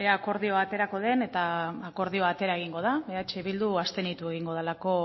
ea akordioa aterako den eta akordioa atera egingo da eh bildu abstenitu egingo dalako